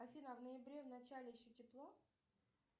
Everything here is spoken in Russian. афина а в ноябре в начале еще тепло